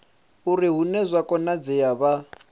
uri hune zwa konadzea vha